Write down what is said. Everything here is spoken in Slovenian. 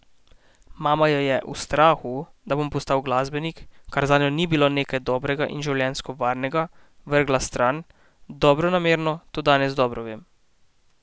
Mama jo je, v strahu, da bom postal glasbenik, kar zanjo ni bilo nekaj dobrega in življenjsko varnega, vrgla stran, dobronamerno, to danes dobro vem.